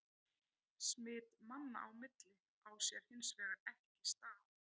Smit manna á milli á sér hins vegar ekki stað.